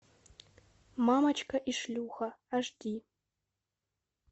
мамочка и шлюха аш ди